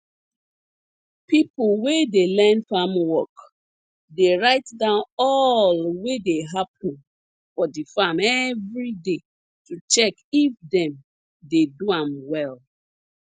people wey dey learn farm work dey write down all wey dey happun for di farm everyday to check if dem dey do am well